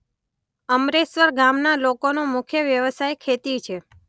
અમરેશ્વર ગામના લોકોનો મુખ્ય વ્યવસાય ખેતી છે.